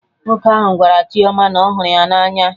Nwoke ahụ gwara Chioma na ọhụrụ ya na anya